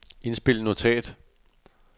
indspil notat